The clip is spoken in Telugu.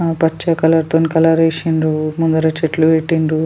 ఆ పచ్చ కలర్ తోని కలర్ వేసిండ్రు ముంగర చెట్లు పెట్టిండ్రు.